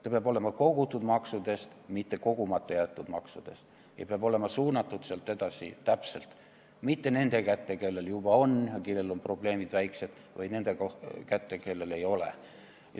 Ta peab põhinema kogutud maksudel, mitte kogumata jäetud maksudel ja peab olema sealt edasi täpselt suunatud, mitte nende kätte, kellel juba on, kelle probleemid on väiksed, vaid nende kätte, kellel ei ole.